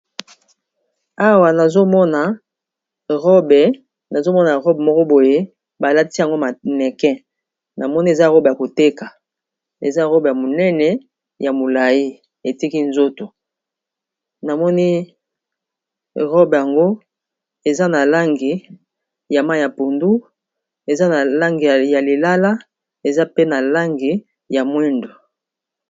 Awa nazomona robe moko boye eza likolo ya ekeko namoni eza robe Yako teka eza pe monene pe molayi etiki nzoto eza na balangi ya moyindo, pondu, pe na lilala.